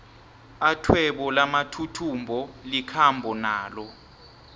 athwebo lamathuthumbo likhambo nalo